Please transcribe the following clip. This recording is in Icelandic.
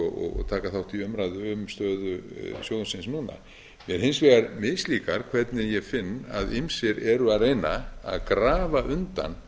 og taka þátt í umræðu um stöðu sjóðsins núna mér hins vegar mislíkar hvernig ég finn að ýmsir eru að reyna að grafa undan